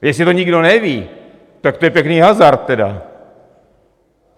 Jestli to nikdo neví, tak to je pěkný hazard tedy.